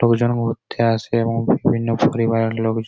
লোকজন ঘুরতে আসে এবং বিভিন্ন পরিবারের লোকজন।